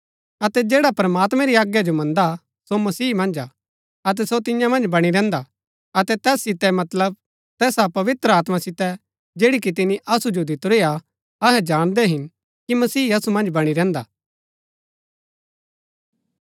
अतै जैडा प्रमात्मैं री आज्ञा जो मन्दा सो मसीह मन्ज हा अतै सो तियां मन्ज बणी रहन्‍दा अतै तैस सितै मतलब तैसा पवित्र आत्मा सितै जैड़ी कि तिनी असु जो दितुरी हा अहै जाणदै हिन कि मसीह असु मन्ज बणी रहन्‍दा